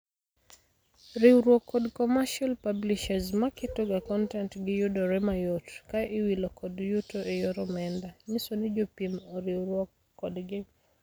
Riuruok kod commercial publishers maketo ga kontent gi yudore mayot ka iwilo kod yuto e yor omenda-nyisoni jopiem oriuruok kodgi.